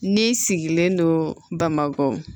Ne sigilen don bamakɔ